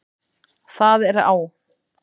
Það er á